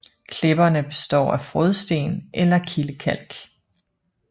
Klipperne består af frådsten eller kildekalk